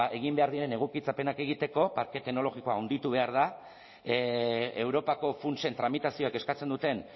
egin behar diren egokitzapenak egiteko parke teknologikoa handitu behar da europako funtsen tramitazioak eskatzen duten